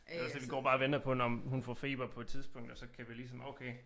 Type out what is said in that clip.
Det også det vi går bare og venter på når hun får feber på et tidspunkt så kan vi ligesom oh okay